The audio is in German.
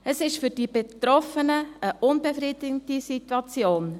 Es ist für die Betroffenen eine unbefriedigende Situation.